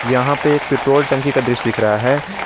यहां पे एक पेट्रोल टंकी का दृश्य दिख रहा है।